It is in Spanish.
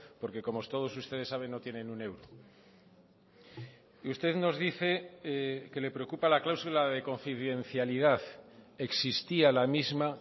porque como todos ustedes saben no tienen un euro y usted nos dice que le preocupa la cláusula de confidencialidad existía la misma